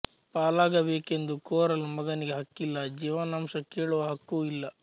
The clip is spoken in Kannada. ಪಾಲಾಗಬೇಕೆಂದು ಕೋರಲು ಮಗನಿಗೆ ಹಕ್ಕಿಲ್ಲ ಜೀವನಾಂಶ ಕೇಳುವ ಹಕ್ಕೂ ಇಲ್ಲ